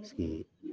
Paseke